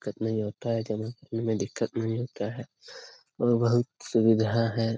दिक्कत नहीं होता हैऔर बहुत सुविधा है ।